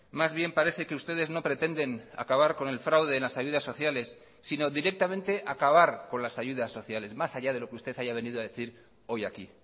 más bien parece que ustedes no pretenden acabar con el fraude en las ayudas sociales sino directamente acabar con las ayudas sociales más allá de lo que usted haya venido a decir hoy aquí